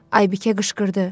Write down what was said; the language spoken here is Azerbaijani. Aybıkə qışqırdı.